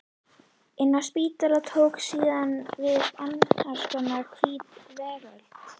Inni á spítalanum tók síðan við annars konar hvít veröld.